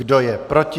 Kdo je proti?